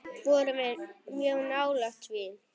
Við vorum mjög nálægt því.